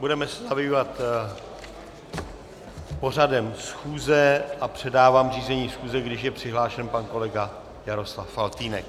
Budeme se zabývat pořadem schůze a předávám řízení schůze, když je přihlášen pan kolega Jaroslav Faltýnek.